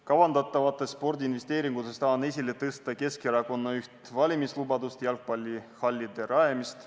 Kavandatavatest spordiinvesteeringutest tahan esile tõsta Keskerakonna üht valimislubadust, jalgpallihallide rajamist.